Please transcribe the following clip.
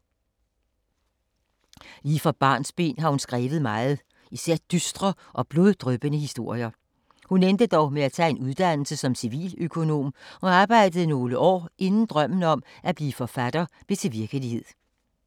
Lige fra barnsben har hun skrevet meget, især dystre og bloddryppende historier. Hun endte dog med at tage en uddannelse som civiløkonom og arbejdede nogle år inden drømmen om at blive forfatter blev til virkelighed.